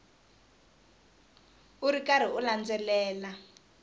u ri karhi u landzelela